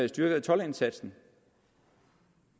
styrkede toldindsatsen